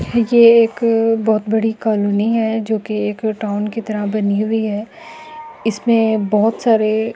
ये एक बहुत बड़ी कॉलोनी है जो की एक टाउन के तरह बनी हुई है इसमें बहुत सारे --